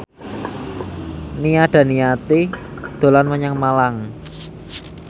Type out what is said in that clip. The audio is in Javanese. Nia Daniati dolan menyang Malang